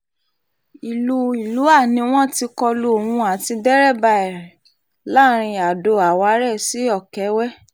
ìlú ìlúà ni wọ́n ti kọ lu òun àti dẹ́rabà ẹ̀ láàrin ado-àwárẹ̀ sí ọ̀kẹ́wẹ́